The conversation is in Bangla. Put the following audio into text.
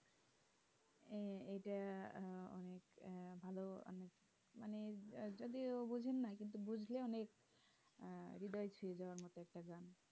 ইটা আহ অনেক আহ ভালো আহ মানে যদিও বোঝেন না কিন্তু বুজলে অনেক আহ হৃদয় ছুঁয়ে যাবার মতো একটা গান